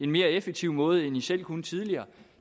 mere effektiv måde end i selv kunne tidligere